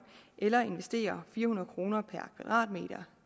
eller investere fire hundrede kroner per kvadratmeter